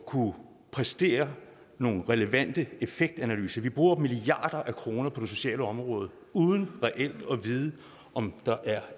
kunne præstere nogle relevante effektanalyser vi bruger milliarder af kroner på det sociale område uden reelt at vide om der er